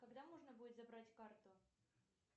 когда можно будет забрать карту